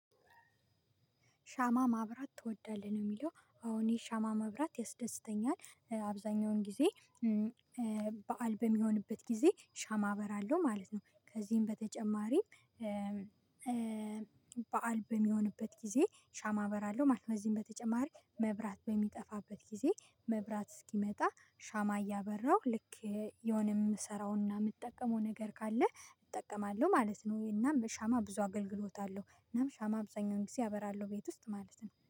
ሻማ ማብራት ትወዳለህ ነው? የሚለው አዎ የሻማ ማብራት ያስደስተኛል አብዛኛውን ጊዜ ብአል በሚሆንበት ጊዜ ሻማ አበራለሁ ማለት ነው። ከዚህም በተጨማሪ በዓል በሚሆንበት ጊዜ ሻማ አበራለው ማለት ነው። በዚህም በተጨማሪ መብራት በሚጠፋበት ጊዜ መብራት እስኪመጣ ሻማ እያበራሁ ልክ የሆነ የምሰራውና የምትጠቀመው ነገር ካለ እጠቀማለሁ ማለት ነው። ወይና በሻማ ብዙ አገልግሎታለሁ እናም ሻማ አብዛኛውን ጊዜ አበራለሁ ቤት ውስጥ ማለት ነው።